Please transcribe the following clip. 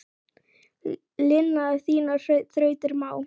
Lina þínar þrautir má.